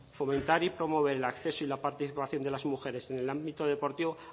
fomentar y promover el acceso y la participación de las mujeres en el ámbito deportivo